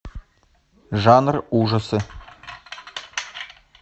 жанр ужасы